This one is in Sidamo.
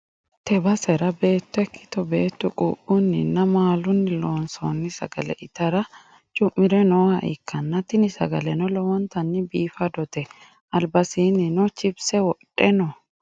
tee basera beetto ikkitto beettu quuphunnina maalunni loonsoonni sagale itara cu'mire nooha ikkanna, tini sagaleno lowontanni biifadote ,albasiinnino chipise wodhe no.